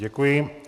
Děkuji.